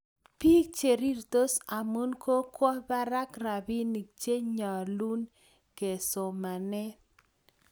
bik cherirtos amun kokwo bak rabinik che nyalun ke somane